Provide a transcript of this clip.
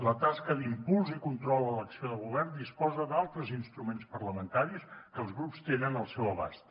la tasca d’impuls i control a l’acció de govern disposa d’altres instruments parlamentaris que els grups tenen al seu abast